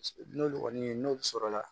N'olu kɔni ye n'olu sɔrɔla